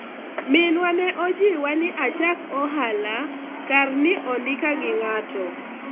minwa ne ojiwa ni achak ohala kar ni ondika gi ng'ato